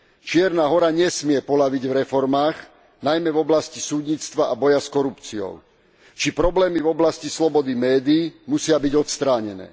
Čierna Hora nesmie poľaviť v reformách, najmä v oblasti súdnictva a boja s korupciou, či problémy v oblasti slobody médií musia byť odstránené.